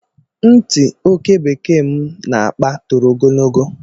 Ntị okebekee m na-akpa toro ogologo